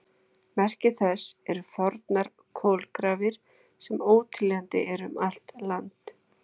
Merki þess eru fornar kolagrafir, sem óteljandi eru um allt land.